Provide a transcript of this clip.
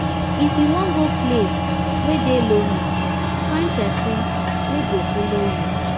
if you wan go place wey dey lonely find pesin wey go follow you.